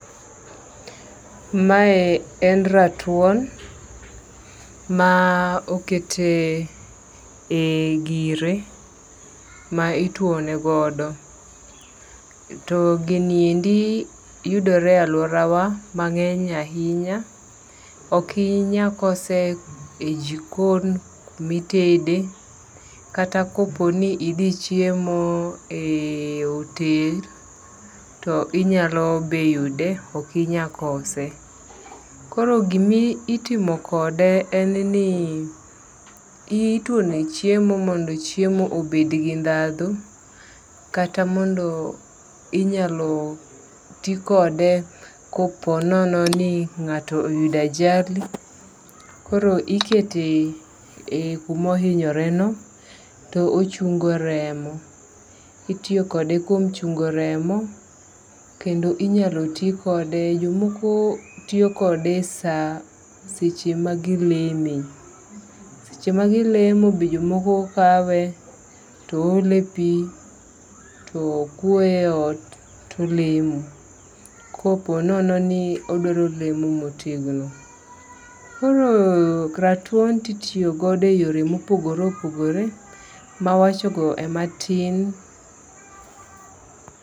Mae en ratuon ma okete e gire ma ituone godo. To gini endi yudore e aluora wa mang'eny ahinya. Ikinyakose e jikon mitede. Kata kopo ni idhi chiemo e otel to inyalo be yude. Ok inya kose. Kor gimitimo kode en ni ituone chiemo mondo chiemo obed gi dhadho. Kata mondo inyalo ti kode kopo nono ni ng'ato oyudo ajali. Koro ikete kumohinyore no to ochungo remo. Itiyo kode kuom chungo remo. Kendo inyalo ti kode jomoko tiyo kode seche ma gileme. Seche ma gilemo be jomoko kawe to ole pi to kwoye e ot tolemo. Koponono ni odwaro lemo motegno. Koro ratuon titiyogodo e yore mopogore opogore. Mawacho go e matin.